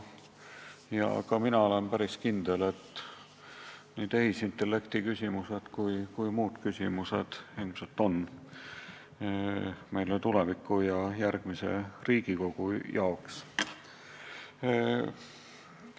Ka mina olen päris kindel, et nii tehisintellekti küsimused kui ka paljud muud küsimused tuleb lahendada järgmisel Riigikogul.